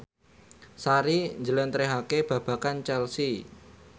Sari njlentrehake babagan Chelsea